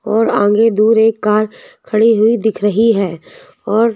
और आगे दूर एक कार खड़ी हुई दिख रही है और--